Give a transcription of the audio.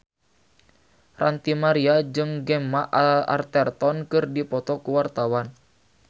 Ranty Maria jeung Gemma Arterton keur dipoto ku wartawan